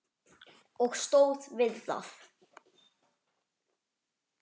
Og stóð við það.